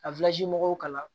Ka mɔgɔw kalan